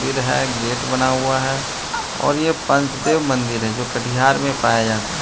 मन्दिर है गेट बना हुआ है और यह पंचदेव मंदिर है जो कटिहार में पाया जाता है।